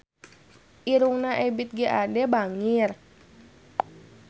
Irungna Ebith G. Ade bangir